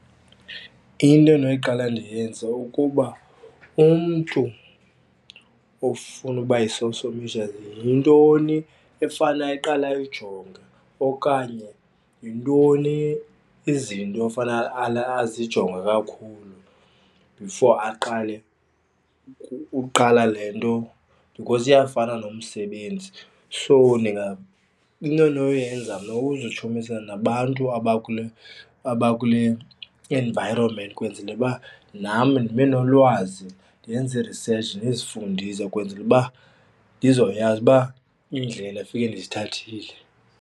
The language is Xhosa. Into endinoqala ndiyenze ukuba umntu ofuna ukuba yi-social media yintoni efane aqale ayijonge okanye yintoni izinto ofanele azijonge kakhulu before aqale uqala le nto because iyafana nomsebenzi. So into endinoyenza mna kuzitshomanisa nabantu abakule abakule environment kwenzele uba nam ndibenolwazi, ndenze i-research ndizifundise ukwenzela uba ndizoyazi uba indlela efike ndizithathile.